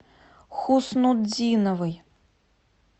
хуснутдиновой